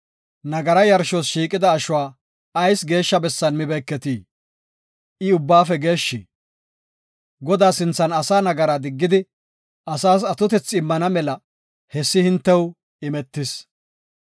“Nagaraa yarshos shiiqida ashuwa ayis geeshsha bessan mibeeketii? I ubbaafe geeshshi. Godaa sinthan asaa nagaraa diggidi asaas atotethi immana mela hessi hintew imetis.